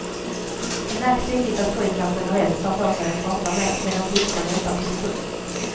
Det märks tydligt att pojkar generellt tar för sig och pratar mer, medan flickorna väntar på sin tur.